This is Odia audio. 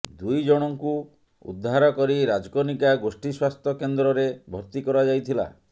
ଦୁଇ ଜଣଙ୍କୁ ଉଦ୍ଧାର କରି ରାଜକନିକା ଗୋଷ୍ଠୀ ସ୍ୱାସ୍ଥ୍ୟ କେନ୍ଦ୍ରରେ ଭର୍ତ୍ତି କରାଯାଇଥିଲା